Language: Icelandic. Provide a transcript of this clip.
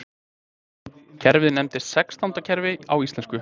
Kerfið nefnist sextándakerfi á íslensku.